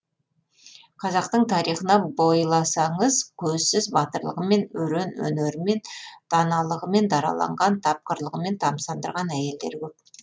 қазақтың тарихына бойласаңыз көзсіз батырлығымен өрен өнерімен даналығымен дараланған тапқырлығымен тамсандырған әйелдер көп